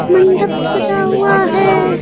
मंडप सजा हुआ है--